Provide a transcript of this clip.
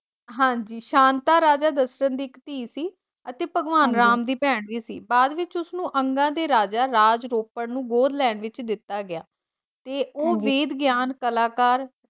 ਹਾਂਜੀ ਸ਼ਾਂਤਾ ਰਾਜਾ ਦਸ਼ਰਤ ਦੀ ਧੀ ਸੀ ਅਤੇ ਭਗਵਾਨ ਰਾਮ ਦੀ ਭੈਣ ਵੀ ਸੀ। ਬਾਅਦ ਵਿੱਚ ਉਸਨੂੰ ਅੰਗਾਂ ਦੇ ਰਾਜਾ ਰਾਜ ਰੋਪਨ ਨੂੰ ਗੋਦ ਲੈਣ ਵਿੱਚ ਦਿੱਤਾ ਗਿਆ ਤੇ ਉਹ ਵੇਦ ਗਿਆਨ ਕਲਾਕਾਰ